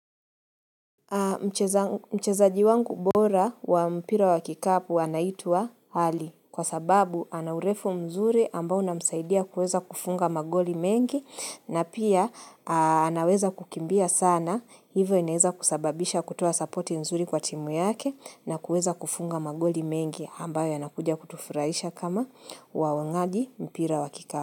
Mchezaji wangu bora wa mpira wa kikapu anaitwa hali kwa sababu ana urefu mzuri ambao unamsaidia kuweza kufunga magoli mengi na pia anaweza kukimbia sana hivyo inaweza kusababisha kutoa sapoti mzuri kwa timu yake na kuweza kufunga magoli mengi ambayo yanakuja kutufurahisha kama waonaji mpira wa kikapo.